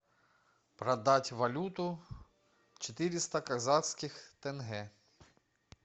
продать валюту четыреста казахских тенге